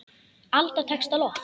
Alda tekst á loft.